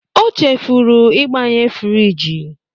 O chefuru ịgbanye friji.